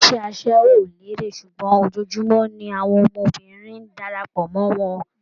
Iṣẹ́ aṣẹ́wó ò lérè ṣùgbọ́n ojoojúmọ́ ni àwọn ọmọbìnrin ń darapọ̀ mọ́ wọn